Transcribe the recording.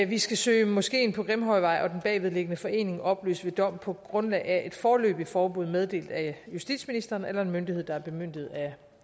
vi skal søge moskeen på grimhøjvej og den bagvedliggende forening opløst ved dom på grundlag af et foreløbigt forbud meddelt af justitsministeren eller en anden myndighed der er bemyndiget af